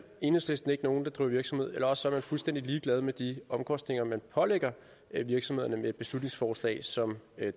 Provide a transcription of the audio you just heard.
enhedslisten ikke nogen der driver virksomhed eller også er man fuldstændig ligeglad med de omkostninger man pålægger virksomhederne med et beslutningsforslag som